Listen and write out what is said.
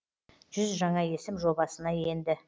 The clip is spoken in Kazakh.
жүз жаңа есім жобасына енді